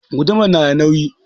Guduman na da nauyi